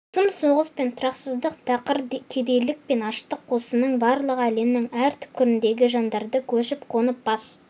сұм соғыс пен тұрақсыздық тақыр кедейлік пен аштық осының барлығы әлемнің әр түпкіріндегі жандарды көшіп-қонып бас